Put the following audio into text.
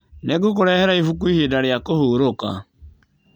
Nĩngũkũrehera ibuku ihinda rĩa kũhurũka